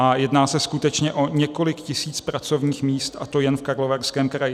A jedná se skutečně o několik tisíc pracovních míst, a to jen v Karlovarském kraji.